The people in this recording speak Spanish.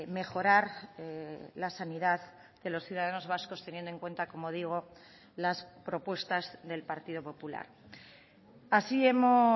mejorar la sanidad de los ciudadanos vascos teniendo en cuenta como digo las propuestas del partido popular así hemos